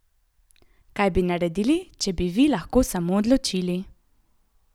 Kaj bi naredili, če bi vi lahko samo odločili?